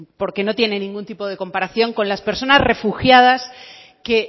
porque no tiene ningún tipo de comparación con las personas refugiadas que